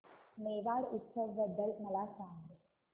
मेवाड उत्सव बद्दल मला सांग